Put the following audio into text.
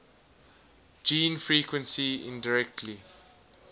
gene frequency indirectly